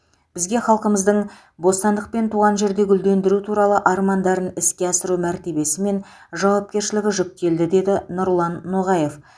бізге халқымыздың бостандық пен туған жерді гүлдендіру туралы армандарын іске асыру мәртебесі мен жауапкершілігі жүктелді деді нұрлан ноғаев